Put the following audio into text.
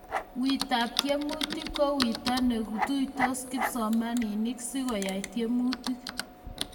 weetab tiemutik ko weto netuisiot kipsomaninik sikoyae tiemutik